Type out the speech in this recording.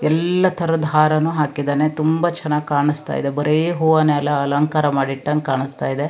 ಎಲ್ಲಾ ತರದು ಹಾರ ಹಾಕಿದ್ದಾನೆ ತುಂಬಾ ಚನ್ನಾಗಿ ಕಾಣಸ್ತಾ ಇದೆ ಬರೆ ಹೂವನೆ ಅಲ ಅಲಂಕಾರ ಮಾಡಿ ಇಟಂಗೆ ಕಾಣಸ್ತಾ ಇದೆ.